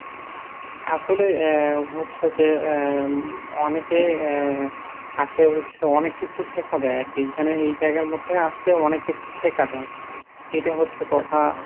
আসলে আহ হচ্ছে যে আহ অনেকে আহ আসলে অনেক কিছু শেখা যায় আর কি। এখানে এই জায়গার মধ্যে আসলে অনেক কিছু শেখা যায় এটা হচ্ছে কথা।